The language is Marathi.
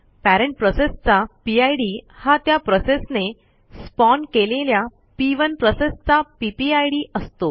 पॅरेंट प्रोसेसचा पिड हा त्या प्रोसेसने स्पॉन केलेल्या पी1 प्रोसेसचा पीपीआयडी असतो